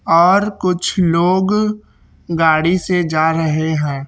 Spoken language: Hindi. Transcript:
और कुछ लोग गाड़ी से जा रहे हैं।